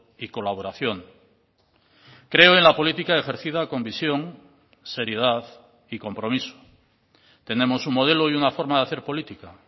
y colaboración creo en la política ejercida con visión seriedad y compromiso tenemos un modelo y una forma de hacer política